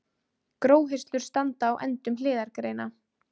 Gróhirslur standa á endum hliðargreina.